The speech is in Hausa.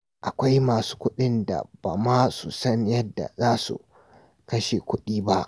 Akwai masu kuɗin da ba ma su san yadda za su kashe kuɗin ba.